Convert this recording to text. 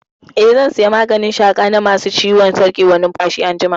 Eh, zan saya maganin shaƙa na ma su ciwon sarƙewar numfashi anjima